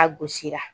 A gosira